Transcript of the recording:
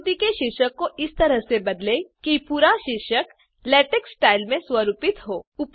आकृति के शीर्षक को इस तरह से बदलें कि पूरा शीर्षक लेटेक्स स्टाइल में स्वरूपित हो